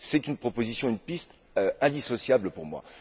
C'est une proposition, une piste, indissociable pour moi.